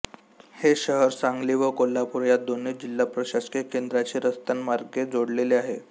हे शहर सांगली व कोल्हापूर या दोन्ही जिल्हा प्रशासकीय केन्द्रांशी रस्त्यांमार्गे जोडलेले आहे